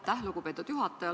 Aitäh, lugupeetud juhataja!